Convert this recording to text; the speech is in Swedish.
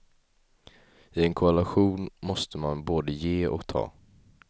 I en koalition måste man både ge och ta.